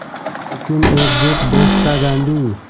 लेकिन एकजुट देश का गांधी